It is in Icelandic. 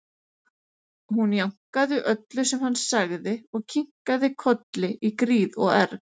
Hún jánkaði öllu sem hann sagði og kinkaði kolli í gríð og erg.